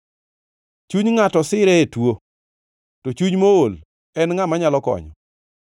Chuny ngʼato sire e tuo, to chuny mool, en ngʼa manyalo konyo?